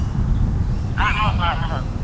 ਆਹੋ-ਆਹੋ।